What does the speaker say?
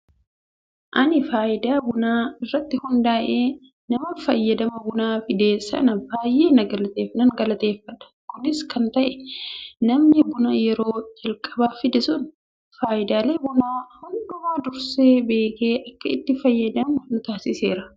Ani fayidaa bunaa irratti hundaa'ee nama fayyadama bunaa fide sana baay'ee nan galateeffadha. Kunis kan ta'eef namni buna yeroo calqabaaf fide sun fayidaalee bunaa hundumaa dursee beekee akka itti fayyadamnu nu taasiseera.